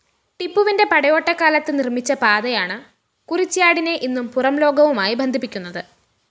ടിപ്പുവിന്റെ പടയോട്ടക്കാലത്ത് നിര്‍മ്മിച്ച പാതയാണ് കുറിച്ച്യാടിനെ ഇന്നും പുറംലോകവുമായി ബന്ധിപ്പിക്കുന്നത്